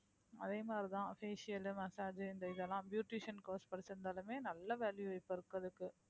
அதே மாதிரிதான் facial massage இந்த இதெல்லாம் beautician course படிச்சிருந்தாலுமே நல்ல value இப்பஇருக்கறதுக்கு